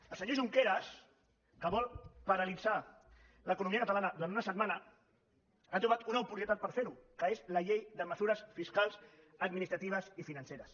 el senyor junqueras que vol paralitzar l’economia catalana durant una setmana ha trobat una oportunitat per fer ho que és la llei de mesures fiscals administratives i financeres